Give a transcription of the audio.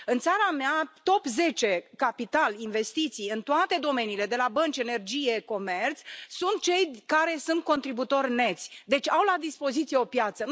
În țara mea, top zece capital, investiții, în toate domeniile, de la bănci, energie, comerț, sunt cei care sunt contributori neți, deci au la dispoziție o piață.